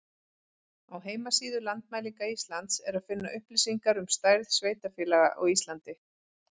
Á heimasíðu Landmælinga Íslands er að finna upplýsingar um stærð sveitarfélaga á Íslandi.